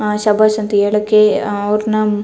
ಅಹ್ ಶಾ ಬಾಷ್ ಅಂತ ಹೇಳಕ್ಕೆ ಅಹ್ ಅವ್ರನ್ನಾ --